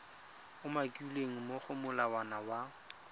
umakilweng mo go molawana wa